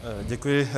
Děkuji.